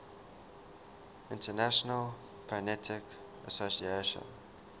international phonetic association